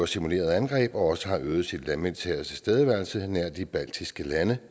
simuleret angreb og også har øget den landmilitære tilstedeværelse nær de baltiske lande